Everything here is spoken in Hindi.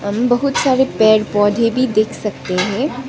हम बहुत सारे पेड़ पौधे भी देख सकते हैं।